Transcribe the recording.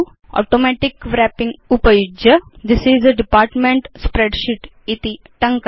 automatic wrapping उपयुज्य this is a department spreadsheet इति टङ्कयतु